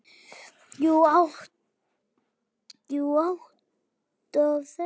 Jú, út af þessu.